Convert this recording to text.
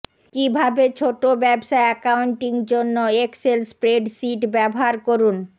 কিভাবে ছোট ব্যবসা অ্যাকাউন্টিং জন্য এক্সেল স্প্রেডশিট ব্যবহার করুন